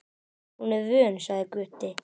Hún er vön, sagði Gutti.